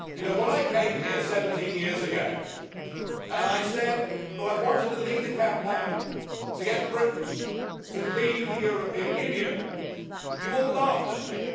When I came here 17 years ago and said that I wanted to lead a campaign to get Britain to leave the European Union, you all laughed at me.